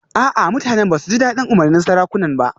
A'a mutanen da ba su ji dadin umarnin sarakunan ba